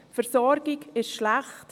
Die Versorgung ist schlecht.